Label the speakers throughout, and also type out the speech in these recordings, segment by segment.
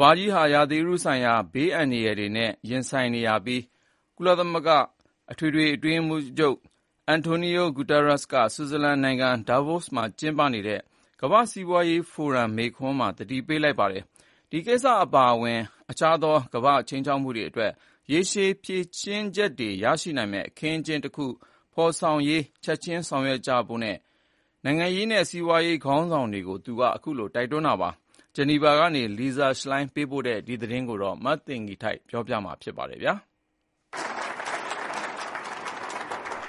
Speaker 1: ဘာကြီးဟာ ရာသီဥတုဆိုင်ရာဘေးအန္တရာယ်တွေနဲ့ ရင်ဆိုင်နေရကြောင်း ကုလသမဂ္ဂအတွင်းရေးမှူးချုပ် Antonio Guterres က ဆွစ်ဇာလန်နိုင်ငံ Davos မှာကျင်းပနေတဲ့ ကမ္ဘာ့စီးပွားရေးဖိုရမ်မိန့်ခွန်းမှာ သတိပေးပါတယ်။ ဒီကိစ္စ ပါအဝင် တခြားသော ကမ္ဘာ့ခြိမ်းခြောက်မှုတွေအတွက် ရေရှည်ဖြေရှင်းချက်တွေ ရရှိနိုင်မယ့်အခင်းအကျင်းတခုဖော်ဆောင်ရေး ချက်ချင်းဆောင်ရွက်ကြဖို့ နိုင်ငံရေးနဲ့စီးပွားရေးခေါင်းဆောင်တွေကို သူက တိုက်တွန်းခဲ့ပါတယ်။ ဂျီနီဗာကနေ Lisa Schlein ပေးပို့တဲ့ သတင်းဆောင်းပါးကို မသိင်္ဂီထိုက်က တင်ပြပေးထားပါတယ်။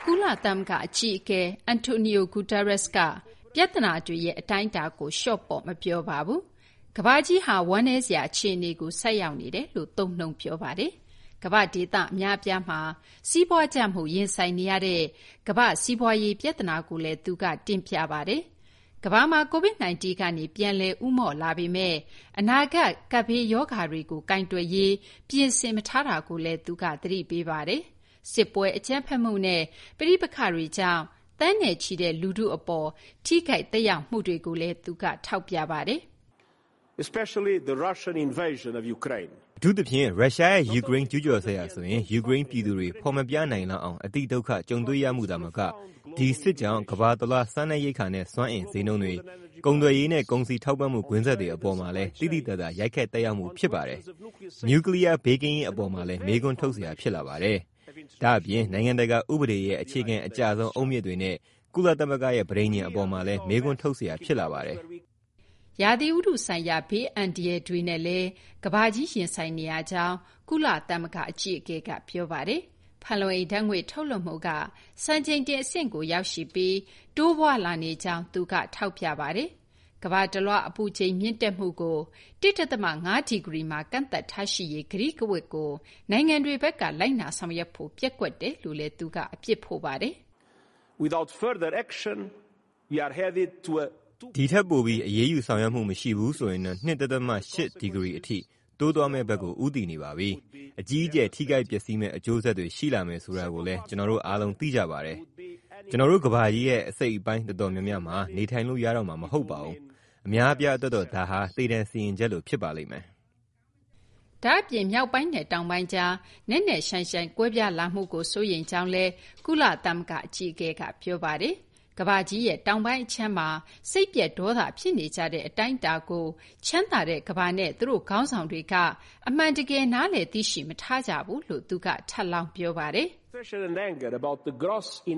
Speaker 2: ကုလသမဂ္ဂအကြီးအကဲ Antonio Guterres က ပြဿနာတွေရဲ့အတိုင်းအတာကို လျှော့ပေါ့ မပြောပါဘူး။ ကမ္ဘာကြီးဟာ ဝမ်းနည်းစရာအခြေအနေကို ဆိုက်ရောက်နေတယ်လို့ သုံးနှုန်းပြောပါတယ်။ ကမ္ဘာ့ဒေသအများအပြားမှာ စီးပွားကျမှုရင်ဆိုင်နေရတဲ့ ကမ္ဘာ့စီးပွားရေးပြဿနာကိုလည်း သူက တင်ပြပါတယ်။ ကမ္ဘာမှာ Covid-19 ကနေ ပြန်လည် ဦးမော့လာပေမယ့် အနာဂတ်ကပ်ဘေးရောဂါတွေကို ကိုင်တွယ်ရးအတွက် ပြင်ဆင်မထားတာကိုလည်း သူက သတိပေးပါတယ်။ စစ်ပွဲ၊ အကြမ်းဖက်မှုနဲ့ပဋိပက္ခတွေကြောင့် သန်းနဲ့ချီတဲ့လူထု အပေါ် ထိခိုက်သက်ရောက်မှုတွေကိုလည်း သူက ထောက်ပြပါတယ်။
Speaker 3: “အထူးသဖြင့် ရုရှားရဲ့ယူကရိန်းကျူးကျော်စစ်ဟာဆိုရင် ယူကရိန်း ပြည်သူတွေ ဖော်မပြနိုင်လောက်အောင် အတိဒုက္ခ ကြုံတွေ့ရမှုသာမက ဒီစစ်ကြောင့် ကမ္ဘာတလွှား စားနပ်ရိက္ခာနဲ့ စွမ်းအင်ဈေးနှုန်းတွေ၊ ကုန်သွယ်ရေးနဲ့ကုန်စည်ထောက်ပို့မှု ကွင်းဆက်တွေအပေါ်မှာလည်း သိသိသာသာ ရိုက်ခတ်သက်ရောက်မှု ဖြစ်ပါတယ်။ နျူကလီယား ဘေးကင်းရေးအပေါ်မှာလည်း မေးခွန်းထုတ်စရာ ဖြစ်လာပါတယ်။ ဒါ့အပြင် နိုင်ငံတကာဥပဒေရဲ့အခြေခံအကျဆုံး အုတ်မြစ်တွေနဲ့ ကုလသမဂ္ဂရဲ့ပဋိညာဉ်အပေါ်မှာလည်း မေးခွန်းထုတ်စရာ ဖြစ်လာပါတယ်။
Speaker 2: ” ရာသီဥတုဆိုင်ရာ ဘေးအန္တရာယ်တွေနဲ့လည်း ကမ္ဘာကြီးရင်ဆိုင်နေရကြောင်း ကုလသမဂ္ဂအကြီးအကဲက ပြောပါတယ်။ ဖန်လုံအိမ်ဓာတ်ငွေ့ထုတ်လွှတ်မှုက စံချိန်တင်အဆင့်ကိုရောက်ရှိပြီး တိုးပွားလာနေကြောင်း သူက ထောက်ပြပါတယ်။ ကမ္ဘာတလွှား အပူချိန်မြင့်တက်မှုကို ၁.၅ ဒီဂရီမှာ ကန့်သတ်ထားရှိရေး ကတိကဝတ်ကို နိုင်ငံတွေဘက်က လိုက်နာဆောင်ရွက်ဖို့ ပျက်ကွက်တယ်လို့လည်း သူက အပြစ်ဖို့ပါတယ်။
Speaker 3: “ဒီထက်ပိုပြီး အရေးယူဆောင်ရွက်မှုမရှိဘူးဆိုရင်တော့ ၂.၈ ဒီဂရီအထိ တိုးသွားမယ့်ဘက်ကို ဦးတည်နေပါပြီ။ အကြီးအကျယ်ထိခိုက်ပျက်စီးမယ့် အကျိုးဆက်တွေ ရှိလာမယ်ဆိုတာကိုလည်း ကျနော်တို့ အားလုံး သိကြပါတယ်။ ကျနော်တို့ကမ္ဘာကြီးရဲ့ အစိတ်အပိုင်းအတော်များများမှာ နေထိုင်လို့ရတော့မှာ မဟုတ်ပါဘူး။ အများအပြားအတွက်တော့ ဒါဟာ သေဒဏ်စီရင်ချက်လို ဖြစ်ပါလိမ့်မယ်။
Speaker 2: ” ဒါ့အပြင် မြောက်ပိုင်းနဲ့တောင်ပိုင်းကြား နက်နက်ရှိုင်းရှိုင်းကွဲပြားလာမှုကို စိုးရိမ်ကြောင်းလည်း ကုလသမဂ္ဂအကြီးအကဲက ပြောပါတယ်။ ကမ္ဘာကြီးရဲ့တောင်ပိုင်းအခြမ်းမှာ စိတ်ပျက်ဒေါသဖြစ်နေကြတဲ့အတိုင်းအတာကို ချမ်းသာတဲ့ ကမ္ဘာနဲ့ သူတို့ခေါင်းဆောင်တွေက အမှန်တကယ် နားလည်သိရှိမထားကြဘူးလို့လည်း သူက ထပ်လောင်း ပြောပါတယ်။
Speaker 3: “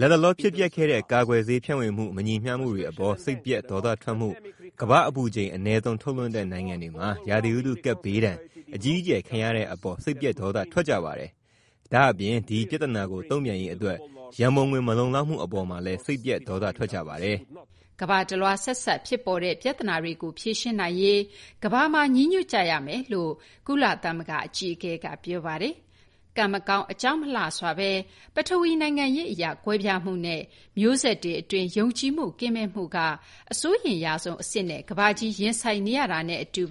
Speaker 3: လတ်တလောဖြစ်ပျက်ခဲ့တဲ့ ကာကွယ်ဆေးဖြန့်ဝေမှု မညီမျှမှုတွေအပေါ် စိတ်ပျက်ဒေါသထွက်မှု၊ ကမ္ဘာ့အပူချိန် အနည်းဆုံးထုတ်လွှတ်တဲ့နိုင်ငံတွေမှာ ရာသီဥတုကပ်ဘေးဒဏ် အကြီးအကျယ်ခံရတဲ့အပေါ် စိတ်ပျက်ဒေါသထွက်ကြပါတယ်။ ဒါ့အပြင် ဒီပြဿနာကိုတုံ့ပြန်ရေးအတွက် ရန်ပုံငွေမလုံလောက်မှု အပေါ်မှာလည်း စိတ်ပျက်ဒေါသထွက်ကြပါတယ်။
Speaker 2: ” ကမ္ဘာတလွှား ဆက်စပ်ဖြစ်ပေါ်တဲ့ပြဿနာတွကို ဖြေရှင်းနိုင်ရေး ကမ္ဘာမှာညီညွတ်ကြရမယ်လို့လည်း ကုလသမဂ္ဂ အကြီးအကဲက ပြောပါတယ်။ ကံမကောင်းအကြောင်းမလှစွာ ပထဝီနိုင်ငံရေးအရကွဲပြားမှုနဲ့ မျိုးဆက်တွေအတွင်း ယုံကြည်မှုကင်းမဲ့မှုက အစိုးရိမ်ရဆုံးအဆင့်နဲ့ ကမ္ဘာကြီးရင်ဆိုင်နေရတာနဲ့အတူ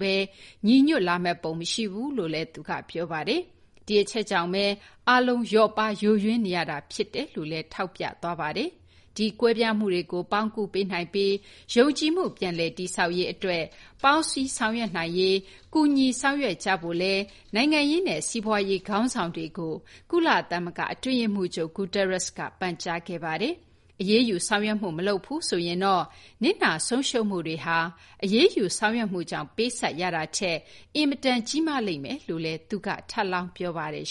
Speaker 2: ညီညွတ်လာမယ့်ပုံ မရှိဘူးလို့လည်း သူက ပြောပါတယ်။ ဒီအချက်ကြောင့်ပဲ အားလုံး လျော့ပါးယိုယွင်းနေရတာ ဖြစ်တယ်လို့လည်း ထောက်ပြသွားပါတယ်။ ဒီကွဲပြားမှုတွေကိုပေါင်းကူးပေးနိုင်ပြီး ယုံကြည်မှု ပြန်လည်တည်ဆောက်ရေး ပေါင်းစည်းဆောင်ရွက်နိုင်ရေးအတွက် ကူညီဆောင်ရွက်ကြဖို့လည်း နိုင်ငံရေးနဲ့ စီးပွားရေးခေါင်းဆောင်တွေကို ကုလသမဂ္ဂအတွင်းရေးမှူးချုပ် Guterres က ပန်ကြားခဲ့ပါတယ်။ အရေးယူဆောင်ရွက်မှုမလုပ်ဘူးဆိုရင်တော့ နစ်နာဆုံးရှုံးမှုတွေဟာ အရေးယူဆောင်ရွက်မှုကြောင့်ပေးဆပ်ရတာထက် အင်မတန်ကြီးမားလိမ့်မယ်လို့လည်း သူက ထပ်လောင်းပြောပါတယ်